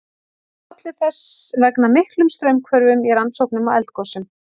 Það olli þess vegna miklum straumhvörfum í rannsóknum á eldgosum.